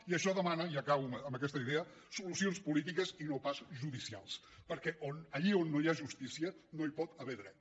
i això demana i acabo amb aquesta idea solucions polítiques i no pas judicials perquè allí on no hi ha justícia no hi pot haver dret